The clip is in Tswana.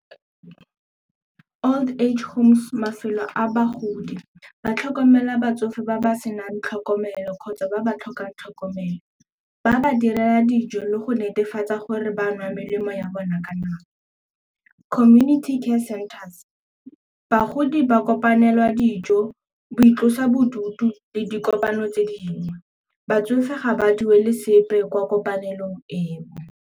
Old age homes, mafelo a bagodi ba tlhokomela batsofe ba ba senang tlhokomelo kgotsa ba ba tlhokang tlhokomelo. Ba ba direla dijo le go netefatsa gore ba nwa melemo ya bona ka nako. Community care centers, bagodi ba kopanela dijo go itlosa bodutu le dikopano tse dingwe, batsofe ga ba duele sepe kwa kopanelong eo.